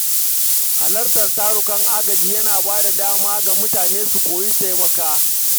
Halartar tarukan agaji yana ba da dama ga mutane su koyi taimako.